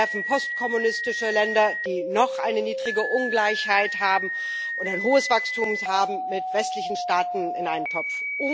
Sie werfen postkommunistische Länder, die noch eine niedrige Ungleichheit und ein hohes Wachstum haben, mit westlichen Staaten in einen Topf.